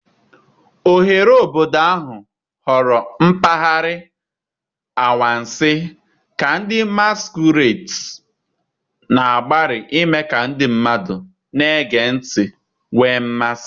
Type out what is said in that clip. Oghere obodo ahụ ghọrọ mpaghara anwansi ka ndị masquerades na-agbalị ime ka ndị na-ege ntị nwee mmasị.